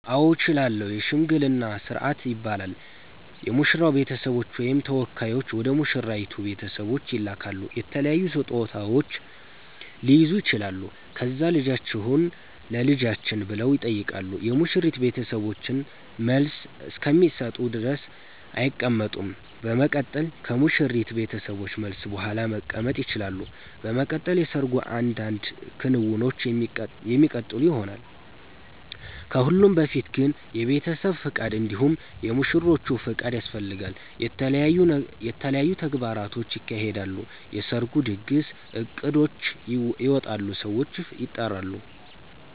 አዎ እችላለሁ የሽምግልና ስርአት ይባላል የሙሽራዉ ቤተሰቦች ወይም ተወካዮች ወደ ሙሽራይቱ ቤተሰቦች ይላካሉ የተለያዩ ስጦታዉች ሊይዙ ይችላሉ ከዛ ልጃችሁን ለልጃችን ብለዉ ይጠይቃሉ የሙሽሪት ቤተሰቦችን መልስ እስከሚሰጡ ድረስ አይቀመጡም በመቀጠል ከሙሽሪት ቤተሰቦች መልስ ቡሃላ መቀመጥ ይቸላሉ። በመቀጠል የሰርጉ አንዳንድ ክንዉኖች የሚቀጥሉ ይሆናል። ከሁሉም በፊት ግን የቤተሰብ ፍቃድ እንዲሁም የሙሽሮቹ ፍቃድ ያስፈልጋል። የተለያዩ ተግባራቶች ይካሄዳሉ የሰርጉ ድግስ እቅዶች ይወጣሉ ሰዎች ይጠራሉ